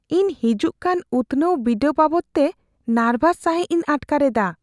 ᱤᱧ ᱦᱤᱡᱩᱜᱠᱟᱱ ᱩᱛᱱᱟᱹᱣᱟᱱ ᱵᱤᱰᱟᱹᱣ ᱵᱟᱵᱚᱫᱛᱮ ᱱᱟᱨᱵᱷᱟᱥ ᱥᱟᱹᱦᱤᱡ ᱤᱧ ᱟᱴᱠᱟᱨ ᱮᱫᱟ ᱾